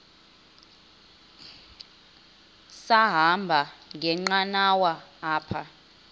sahamba ngenqanawa apha